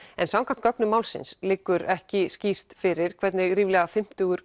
samkvæmt gögnum málsins liggur ekki skýrt fyrir hvernig ríflega fimmtugur